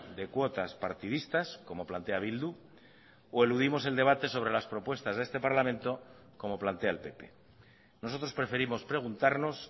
de cuotas partidistas como plantea bildu o eludimos el debate sobre las propuestas de este parlamento como plantea el pp nosotros preferimos preguntarnos